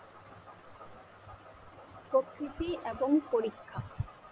প্রকৃতি এবং পরীক্ষা